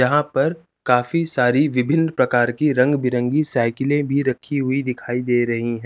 यहा पर काफी सारी विभिन प्रकार की रंग भिरंगी साइकिले भी रखी हुई दिखाई दे रही हैं।